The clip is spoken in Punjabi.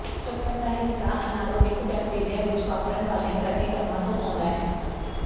ਚੱਕਰ ਦਾ ਹਿੱਸਾ ਅਨਾਰੋਬਿਕ ਬੈਕਟੀਰੀਆ ਵਿਚ ਵਾਪਰਨ ਵਾਲੀਆਂ ਪ੍ਰਤੀਕਰਮਾਂ ਤੋਂ ਆਉਂਦਾ ਹੈ